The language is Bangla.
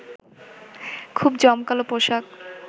খুব জমকালো পোশাক